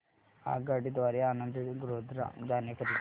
आगगाडी द्वारे आणंद ते गोध्रा जाण्या करीता